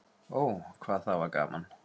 Ó, hvað það var gaman.